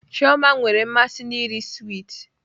Chioma nwere mmasị iri swiiti